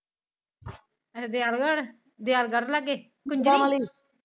ਅੱਛਾ ਦਿਆਲ੍ਘ੍ਰਡ ਦਿਆਲ੍ਗ੍ਰ੍ਡ ਲਾਗੇ ਗਾਵਾਲਿਨ